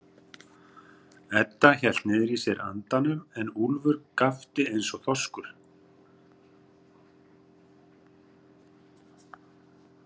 Edda hélt niðri í sér andanum en Úlfur gapti eins og þorskur.